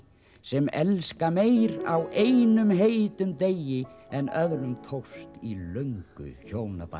sem elska meir á einum heitum degi en öðrum tókst í löngu hjónabandi